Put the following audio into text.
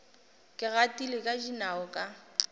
ke gatile ka dinao ka